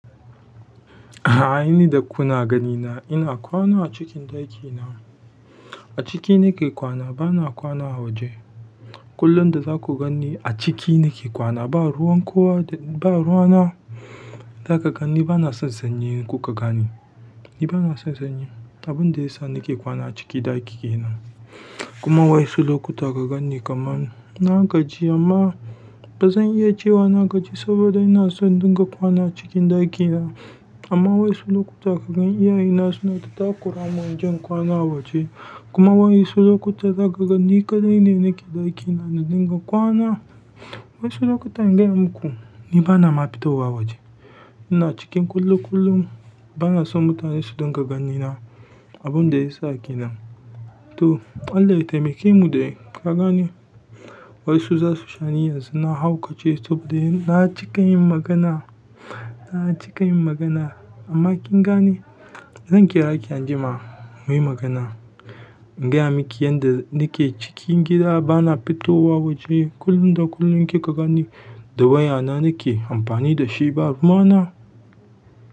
A a a, a aini da kuna ganina ina kwana a cikin ɗakina. Aciki nike kwana bana kwana a waje. Kullum da za ku gani a ciki nake kwana ba ruwan kowa da ba ruwana. Za ka gani bana son sanyi inkuka gane. Ni bana son sanyi. Abin da ya sa nake kwana a ciki ɗakina kuma waʼyansu lokuta ka ganni kaman na gaji amma bazan iya cewa na gaji saboda ina son dinga kwana cikin ɗakina. Amma wai su lokuta ka gan iyaye na suna ta takura mun inje in kwana a waje, kuma waƴansu lokuta za ka gani kaɗai ne nake ɗakina na dinga kwana. Wai su lokuta in gaya muku ni bana ma fito wa waje. Ina cikin kullum kullum bana son mutane su dinga ganina. Abin da ya sa kenan. To, Allah ya taimake mu dai ka gane wai su za su shani yanzu na haukace saboda ina cika yin magana, ina cika yin magana. Amma kin gani zan kira ki anjima muyi magana. In gaya miki yanda nake cikin gida bana fitowa waje kullum da kullum kika gani da waya na nake amfani da shi ba ruwana.